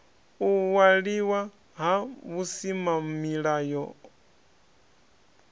u waliwa ha vhusimamilayo hohe